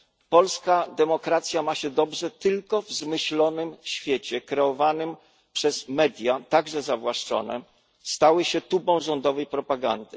Polska demokracja ma się dobrze tylko w zmyślonym świecie kreowanym przez media, także zawłaszczone, które stały się tubą rządowej propagandy.